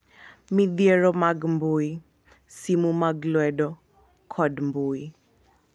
Midhiero mag mbui, simu mag lwedo, kod mbui